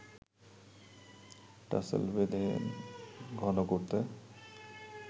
tassel বেঁধে ঘন করতেন